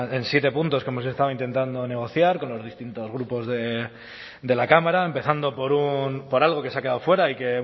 en siete puntos que hemos estado intentando negociar con los distintos grupos de la cámara empezando por algo que se ha quedado fuera y que